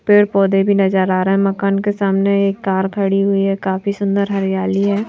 पेड़ पौधे भी नजर आ रहा है मकान के सामने एक कार खड़ी हुई है काफी सुंदर हरियाली है।